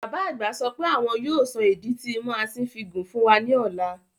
Bàbá àgbà sọ pé àwọn yóò sọ ìdí tí imú asín fi gùn fún wa ní ọ̀la